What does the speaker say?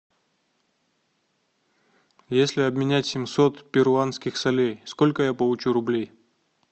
если обменять семьсот перуанских солей сколько я получу рублей